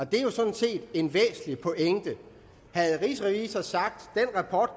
det er jo sådan set en væsentlig pointe havde rigsrevisor sagt